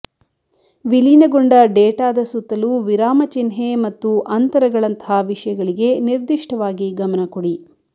ವಿಲೀನಗೊಂಡ ಡೇಟಾದ ಸುತ್ತಲೂ ವಿರಾಮಚಿಹ್ನೆ ಮತ್ತು ಅಂತರಗಳಂತಹ ವಿಷಯಗಳಿಗೆ ನಿರ್ದಿಷ್ಟವಾಗಿ ಗಮನ ಕೊಡಿ